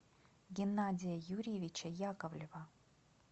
геннадия юрьевича яковлева